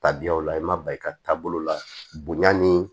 Tabiyaw la i ma ban i ka taabolo la bonya ni